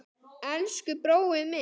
Elsku brói minn.